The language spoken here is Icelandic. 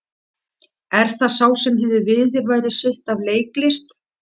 Er það sá sem hefur viðurværi sitt af leiklist?